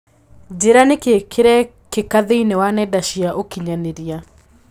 Njĩira nĩkĩĩ kĩrekĩka thĩinĩ wa nenda cia ũkĩnyaniria